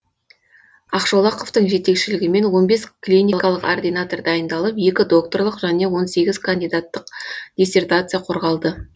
ақшолақовтың жетекшелігімен он бес клиникалық ординатор дайындалып екі докторлық және он сегіз кандидаттық диссертация қорғалды